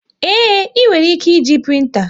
Ee, e nwere ike e ji printa